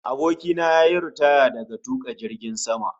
Abokina ya yi ritaya daga tuka jirgin sama